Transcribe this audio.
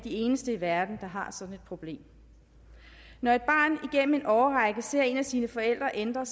eneste i verden der har sådan et problem når et barn igennem en årrække ser en af sine forældre ændre